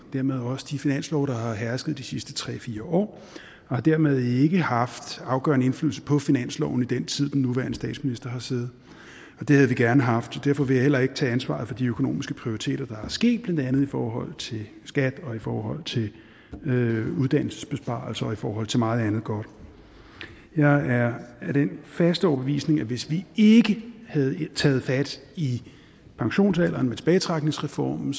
dermed også de finanslove der har hersket de sidste tre fire år og har dermed ikke haft afgørende indflydelse på finansloven i den tid den nuværende statsminister har siddet det havde vi gerne haft derfor vil jeg heller ikke tage ansvaret for de økonomiske prioriteringer der er sket blandt andet i forhold til skat og i forhold til uddannelsesbesparelser og i forhold til meget andet godt jeg er af den faste overbevisning at hvis vi ikke havde taget fat i pensionsalderen med tilbagetrækningsreformen